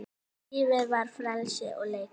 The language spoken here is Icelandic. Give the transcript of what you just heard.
Lífið var frelsi og leikur.